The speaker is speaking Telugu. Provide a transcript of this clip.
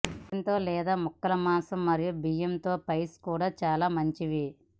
చికెన్ తో లేదా ముక్కలు మాంసం మరియు బియ్యం తో పైస్ కూడా చాలా మంచివి